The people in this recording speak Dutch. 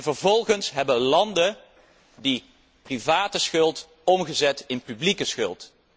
Vervolgens hebben landen die private schuld omgezet in publieke schuld.